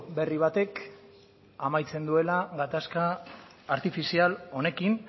berri batek amaitzen duela gatazka artifizial honekin